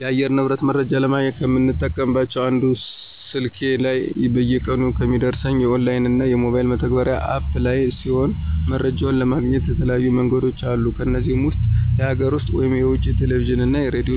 የአየር ንብረት መረጃ ለማግኘት ከምጠቀምበት አንዱ ስልኬ ላይ በየቀኑ ከሚደርሰኝ የኦንላይን እና በሞባይል መተግበሪያ (አፕ) ላይ ሲሆን መረጃውን ለማግኘት የተለያዩ መንገዶችም አሉ ከነዚህም ውስጥ የሀገር ውስጥ (የውጭ) የቴሌቪዥን እና የሬዲዮ